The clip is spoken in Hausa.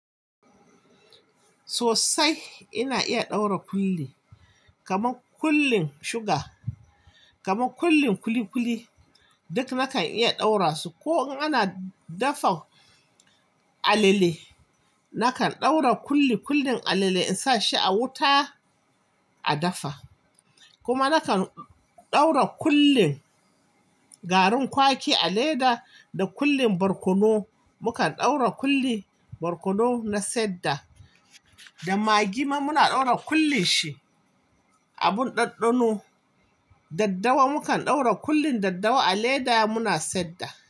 Sosai, ina iya ɗaura kulli kamar kullin suga, kamar kullin kuli kuli duk nakan iya ɗaura su. Ko ana dafa alale, nakan ɗaura kulli kullin alale in sa shi a wuta a dafa. Kuma nakan ɗaura kullin garin kwaki a leda da kullin barkono. Mukan ɗaura kullin barkono na saida da magi ma muna ɗaura kullin shi. Abun ɗaɗɗano, daddawa mukan ɗaura kullin daddawa a leda muna saida.